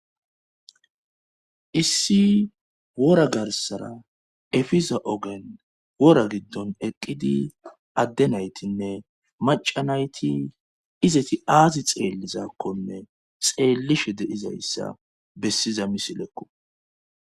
issi wora garsara efiza ogen wora giddon eqqidi addenaytinne macanayti izeti aazi xeellizakkonne xeellishe deizayssa bessiza misilekqu